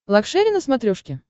лакшери на смотрешке